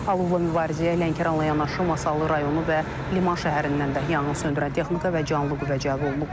Alovla mübarizəyə Lənkəranla yanaşı Masallı rayonu və Liman şəhərindən də yanğın söndürən texnika və canlı qüvvə cəlb olunub.